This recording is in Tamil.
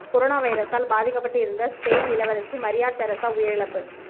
கொரோனா வைரசால் பாதிக்கப்பட்டு இருந்த ஸ்பெயின் இளவரசி மரியா தெரசா உயிரிழப்பு